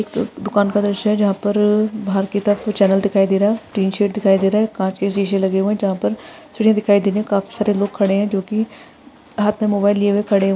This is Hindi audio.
एक दुकान का दृश्य है जहां पर दिखाई दे रहा है टीन शेड दिखाई दे रहा है कांच के शीशे लगे हुए हैं चार पाँच सिक्योरिटी दिखाई दे रहे हैं काफी सारे लोग खड़े हुए हैं जो कि हाथ में मोबाइल लिए हुए खड़े--